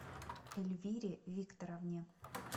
эльвире викторовне